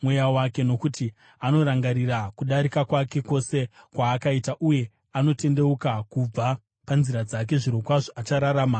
Nokuti anorangarira kudarika kwake kwose kwaakaita uye anotendeuka kubva panzira dzake, zvirokwazvo achararama; haangafi.